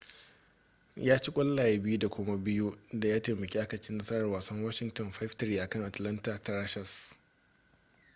ya ci ƙwallaye 2 da kuma 2 da ya taimaka aka ci a nasarar wasan washington 5-3 akan atlanta thrashers